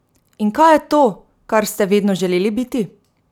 In kaj je to, kar ste vedno želeli biti?